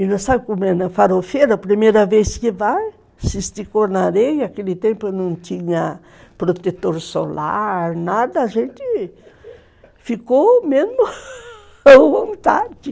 E não sabe como é, na farofeira, a primeira vez que vai, se esticou na areia, naquele tempo não tinha protetor solar, nada, a gente ficou mesmo à vontade.